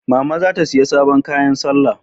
Mama za ta siyai sabon kayan salla